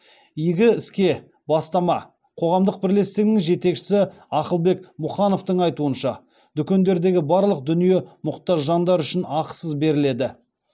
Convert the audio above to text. игі іске бастама қоғамдық бірлестігінің жетекшісі ақылбек мұхановтың айтуынша дүкендегі барлық дүние мұқтаж жандар үшін ақысыз беріледі